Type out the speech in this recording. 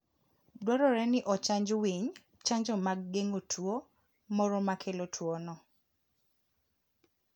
Dwarore ni ochanj winy chanjo mag geng'o tuwo moro makelo tuwono.